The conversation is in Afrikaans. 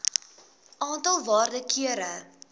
aantal waarde kere